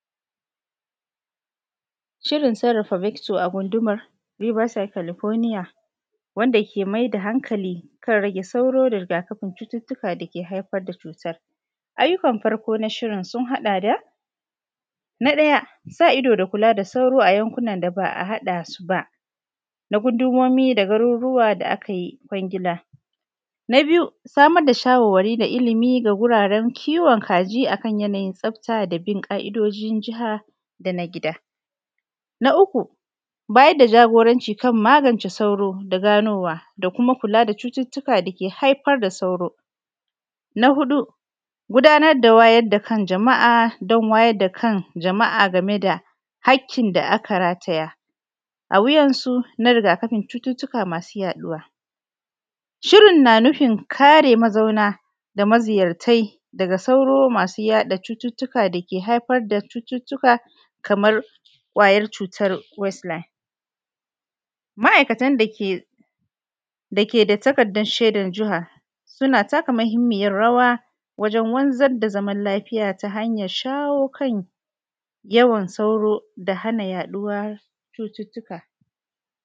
shirin sarrafaa vector a gundumar Viva Psycholoponia, wanda ke mai da hankali, kan rage sauro da riga kafin cututtuka da ke haifar da cutar. Ai yukan farko n shirin sun haɗa da. Na ɗaya, sa ido da kula da sauro a yan kunan da ba a haɗa suba, na gundumomi da garirruwa da a kayi kwangila. Na biyu samar da shawarwari na ilimi ga wuraren kiwon kaji a kan yanayin tsafta da bin ƙa ido ǳin jaha da na gida Na uku bayarda jagoranci kan magance sauro da ganowa, da kuma kula da cututtuka da ke haifar da sauro. Na huɗu gudanar da wayar da kan jama’a, dan wayar da kan jamaˀa, game da hakkin da aka ra taya, awuyan su na riga kafin cututtuka masu yaɗuwa. shirin na nufin kare mazauna da mazi yartai, daga sauro masu yaɗa cututtuka da ke haifar da cututtuka kamar, ƙwayar cutar west Nile. ma aikatan da ke da ke da takardan shedan jihar, suna taka mahimmiyar rawa, wajan wanzar da zaman lafiya. Ta hanyan shawo kan, yawan sauro, da hana jaduwar cututtuka.